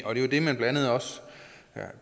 er